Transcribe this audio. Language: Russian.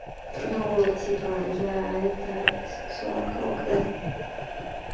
ну типа я это бисексуалка ок да